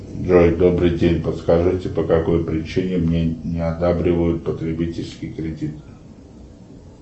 джой добрый день подскажите по какой причине мне не одабривают потребительский кредит